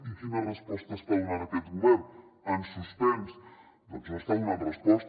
i quina resposta està donant aquest govern en suspens doncs no hi està donant resposta